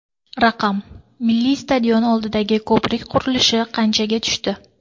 Raqam: Milliy stadion oldidagi ko‘prik qurilishi qanchaga tushdi?.